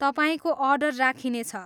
तपाईँको अर्डर राखिनेछ।